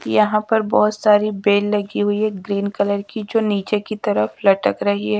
यहाँ पर बहोत सारी बेल लगी हुई है ग्रीन कलर की जो नीचे की तरफ लटक रही है।